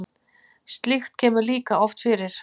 Slíkt kemur líka oft fyrir.